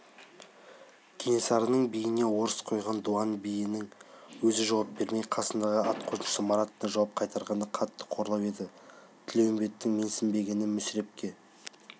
кенесарының биіне орыс қойған дуан биінің өзі жауап бермей қасындағы атқосшы маратына жауап қайтартқаны қатты қорлау еді тілеуімбеттің менсінбегені мүсірепке